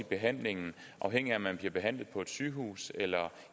behandlingen afhængigt af om man bliver behandlet på et sygehus eller